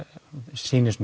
sýnist